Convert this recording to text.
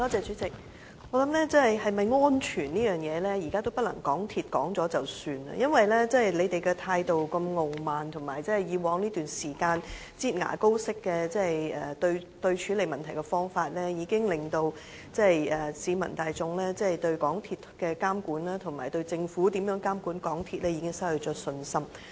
主席，我想鐵路是否安全，現在已不是港鐵公司說了算，因為他們的態度如此傲慢，而且以往一段時間"擠牙膏"式的處理問題方法，已經令市民大眾對港鐵公司監管工程，以及政府監管港鐵公司失去信心。